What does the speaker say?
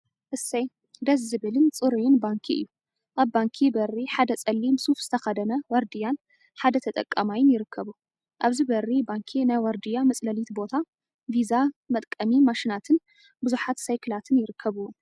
እሰይ ደስ ዝብልን ፅሩይን ባንኪ እዩ፡፡ አብ ባንኪ በሪ ሓደ ፀሊም ሱፈ ዝተከደነ ዋርድያን ሓደ ተጠቃማይን ይርከቡ፡፡ አብዚ በሪ ባንኪ ናይ ዋርድያ መፅለሊት ቦታ፣ ቪዛ መጥቀሚ ማሽናትን ቡዙሓ ሳይክላትን ይርከቡዎም፡፡